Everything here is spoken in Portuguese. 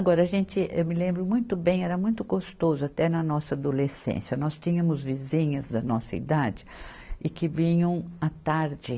Agora a gente, eu me lembro muito bem, era muito gostoso, até na nossa adolescência, nós tínhamos vizinhas da nossa idade e que vinham à tarde.